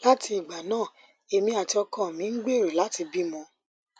láti ìgbà náà èmi àti ọkọ mi ń gbèrò láti bímọ